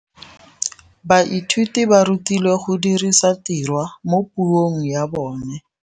Baithuti ba rutilwe go dirisa tirwa mo puong ya bone.